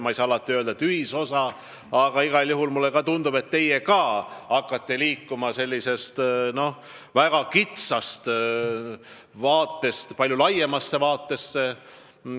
Ma ei saa alati öelda, et oleme leidnud ühisosa, aga mulle tundub, et ka teie olete hakanud liikuma sellisest väga kitsast vaatenurgast palju laiemasse vaatesse.